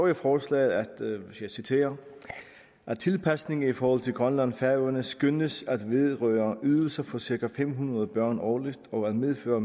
i forslaget jeg citerer tilpasningen i forhold til grønland og færøerne skønnes at vedrøre ydelser for cirka fem hundrede børn årligt og at medføre